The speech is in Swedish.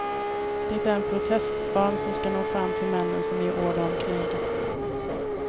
Det är en proteststorm som skall nå fram till männen som ger order om krig.